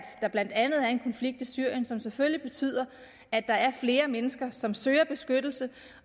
der blandt andet er en konflikt i syrien som selvfølgelig betyder at der er flere mennesker som søger beskyttelse